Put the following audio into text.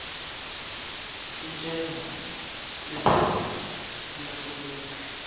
intshengo lephasi iyafuneka